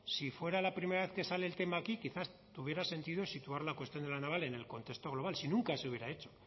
si fuera la primera vez que sale el tema aquí quizá tuviera sentido situar la cuestión de la naval en el contexto global si nunca se hubiera hecho